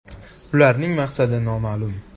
Ularning maqsadi noma’lum.